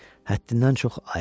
Həddindən çox ayıqdır.